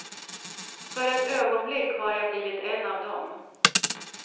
För ett ögonblick har jag blivit en av dom.